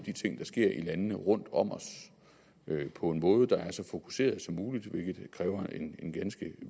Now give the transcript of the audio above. ting der sker i landene rundt om os på en måde der er så fokuseret som muligt hvilket kræver en ganske